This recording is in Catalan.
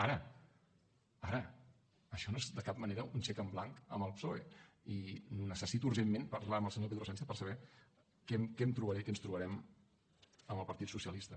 ara ara això no és de cap manera un xec en blanc al psoe i necessito urgentment parlar amb el senyor pedro sánchez per saber què em trobaré què ens trobarem amb el partit socialista